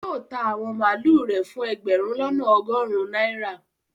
Yóò ta àwọn màlúù rẹ̀ fún ẹgbẹ̀rún lọ́nà ọgọrun náírà